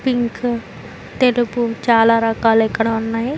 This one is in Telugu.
పింక్ తెలుపు చాలా రకాలు ఇక్కడ ఉన్నాయి.